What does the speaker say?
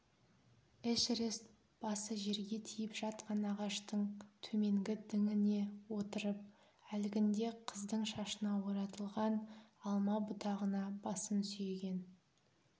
эшерест басы жерге тиіп жатқан ағаштың төменгі діңіне отырып әлгінде қыздың шашына оратылған алма бұтағына басын сүйеген